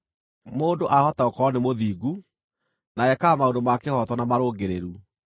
“Mũndũ aahota gũkorwo nĩ mũthingu, na ekaga maũndũ ma kĩhooto na marũngĩrĩru.